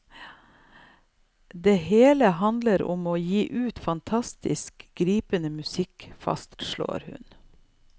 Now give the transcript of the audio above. Det hele handler om å gi ut fantastisk, gripende musikk, fastslår hun.